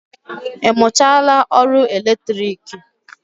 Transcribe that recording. Ị mụchaala ọrụ latriki?